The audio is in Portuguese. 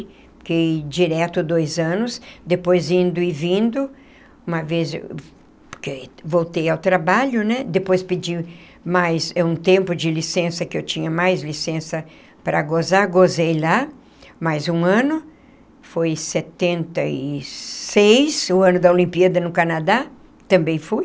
Fiquei direto dois anos, depois indo e vindo, uma vez porque voltei ao trabalho, né, depois pedi mais um tempo de licença, que eu tinha mais licença para gozar, gozei lá mais um ano, foi setenta e seis, o ano da Olimpíada no Canadá, também fui.